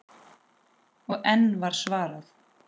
Og enn var svarað: